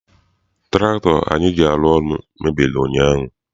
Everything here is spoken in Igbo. Tụraktọ anyị ji arụ ọrụ mebiri ụnyaahụ.